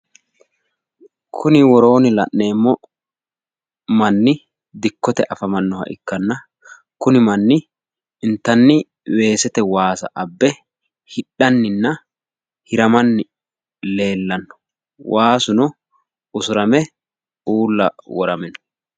Kuni woroonni la'neemmo manni dikkote afamannoha ikkanna kuni manni inttanni weesete waasa abbe hidhanninna hiramanni leellanno. waasuno usurame uula worame no.